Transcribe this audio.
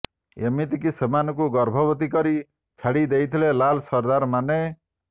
ଏମିତିକି ସେମାନଙ୍କୁ ଗର୍ଭବତୀ କରି ଛାଡି ଦେଇଥିଲେ ଲାଲ୍ ସର୍ଦ୍ଦାରମାନେ